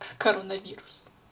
коронавирус